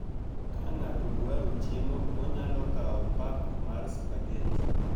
Ka ng'ato dwaro chiemo, onyalo kawo pak mar spaghetti.